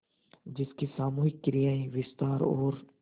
जिसकी सामूहिक क्रियाएँ विस्तार और